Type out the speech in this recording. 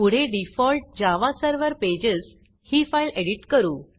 पुढे default Java Server pages ही file edit करू